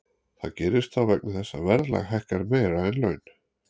Það gerist þá vegna þess að verðlag hækkar meira en laun.